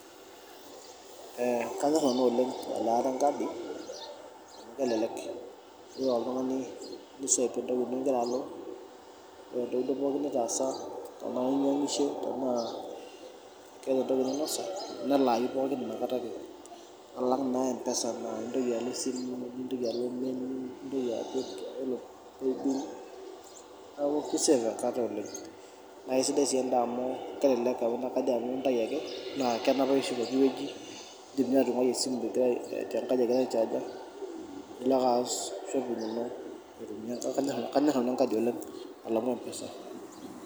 Kanyor nanu elaata enkadi, kelelek .Ilo ake oltungani tenaa inyangisho ,tenaa keeta entoki ninosa ,nelayu pookin inakata ake alang naa nintoki alo esimu ,nitoki alo pmesa nintoki alo paybil neeku keisafe enkata oleng. Naa Kisidai sii enda amu kelelek amu kajo nanu intayu ake naa kenapayu sii pookiweji. Indim ninye atunguai esimu tenkaji egira aichaaja nilo ake aas shopping ino ,neeku kanyor nanu enkadi alangu empesa.